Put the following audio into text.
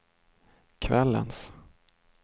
kvällens